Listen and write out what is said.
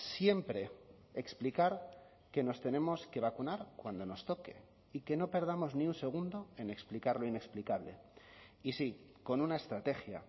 siempre explicar que nos tenemos que vacunar cuando nos toque y que no perdamos ni un segundo en explicar lo inexplicable y sí con una estrategia